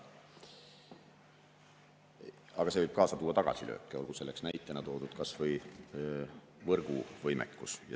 Aga see võib kaasa tuua tagasilööke, olgu näitena toodud kas või võrguvõimekus.